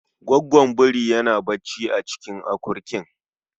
Goggon birin yana bacci a cikin akurkin.